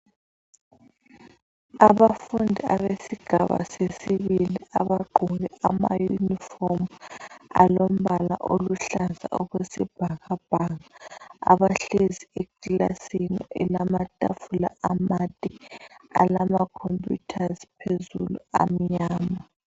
Abafundi abesigaba sesisibili abagqoke amaunifomu alombala oluhlaza okwesibhakabhaka abahlezi eklasini elamatafula amade alama khompuyutha phezulu amnyama.